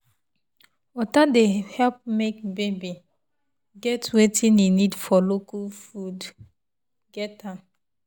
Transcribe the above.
water dey help baby get wetin e need and local food get am.